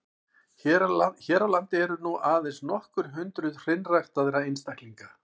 Hér á landi eru nú aðeins nokkur hundruð hreinræktaðra einstaklinga.